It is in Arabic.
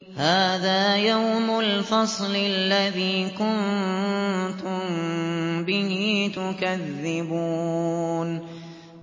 هَٰذَا يَوْمُ الْفَصْلِ الَّذِي كُنتُم بِهِ تُكَذِّبُونَ